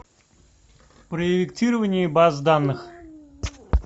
проектирование баз данных